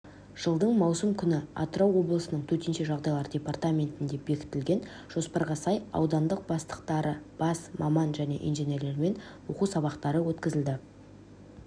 жылдың маусым күні атырау облысының төтенше жағдайлар департаментінде бекітілген жоспарға сай аудандық бастықтары бас маман және инженерлермен оқу сабақтары өткізілді